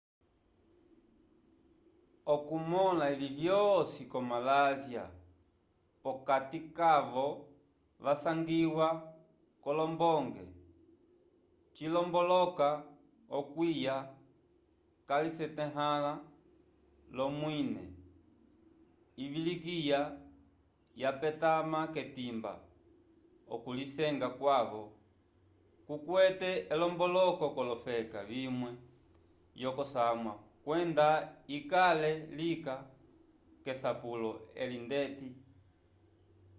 okumõla evi vyosi ko malásia p'okati kavo vasangiwa k'olombonge cilomboloka okwiya calisetahãla l'omwine ivilikiya yapetama k'etimba okulisenga kwaco kukwete elomboloko k'olofeka vimwe vyokosamwa kwenda ikale lika k'esapulo eli ndeti